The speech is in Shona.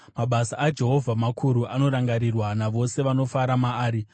Mabasa aJehovha makuru; anorangarirwa navose vanofara maari.